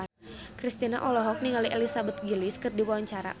Kristina olohok ningali Elizabeth Gillies keur diwawancara